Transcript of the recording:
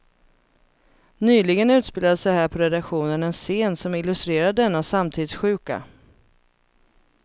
Nyligen utspelade sig här på redaktionen en scen som illustrerar denna samtidssjuka.